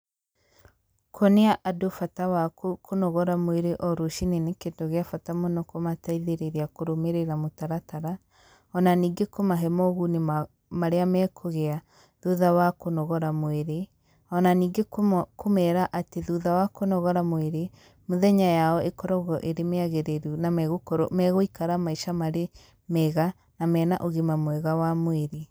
Kũonia andũ bata waku kũnogora mwĩrĩ o rũcinĩ nĩ kĩndũ gĩa bata mũno kũmateithĩrĩria kũrũmĩrĩra mũtaratara,o na ningĩ kũmahe moguni marĩa mekũgĩa thutha wa kũnogora mwĩri,o na ningĩ kũmera atĩ thutha wa kũnogora mwĩrĩ, mũthenya yao ĩkoragwo ĩri mĩagĩrĩru na megũkorwo megũikara maica marĩ mega na marĩ na ũgima mwega wa mwĩrĩ.